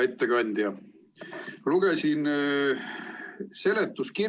Hea ettekandja!